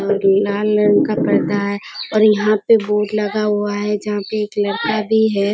और लाल रंग का पर्दा है और यहाँ पे बोड हुआ है जहाँ पे एक लड़का भी है।